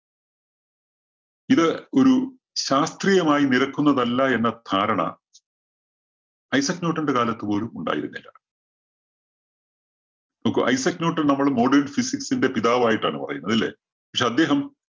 ഇത് ഒരു ശാസ്ത്രീയമായി നിരക്കുന്നതല്ല എന്ന ധാരണ ഐസക്ക് ന്യൂട്ടന്റെ കാലത്തുപോലും ഉണ്ടായിരുന്നില്ല. നോക്കൂ ഐസക്ക് ന്യൂട്ടൻ നമ്മള് modern physics ന്റെ പിതാവായിട്ടാണ് പറയുന്നത്. ഇല്ലേ? പക്ഷേ അദ്ദേഹം